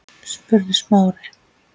spurði Smári.